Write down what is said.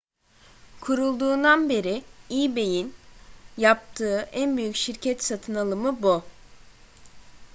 kurulduğundan beri ebay'in yaptığı en büyük şirket satın alımı bu